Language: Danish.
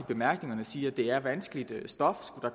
bemærkningerne siger at det er vanskeligt stof